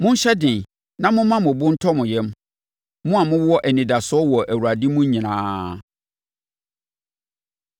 Monhyɛ den na momma mo bo ntɔ mo yam, mo a mowɔ anidasoɔ wɔ Awurade mu nyinaa.